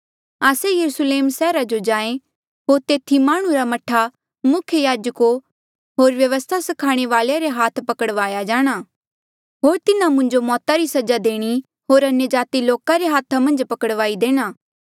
आस्से यरुस्लेम सैहर जो जाहें होर तेथी हांऊँ माह्णुं रा मह्ठा मुख्य याजका होर व्यवस्था स्खाणे वाल्ऐ आ रे हाथा पकड़वाया जाणा होर तिन्हा मुंजो मौता री सजा देणी होर अन्यजाति लोका रे हाथा मन्झ पकड़ाई देणा